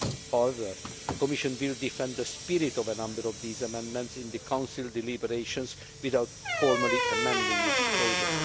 However, the Commission will defend the spirit of a number of these amendments in the Council deliberations without formally amending its proposal.